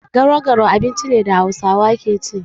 Garau-garau abinci ne da Hausawa ke ci.